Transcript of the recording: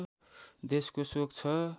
देशको शोक छ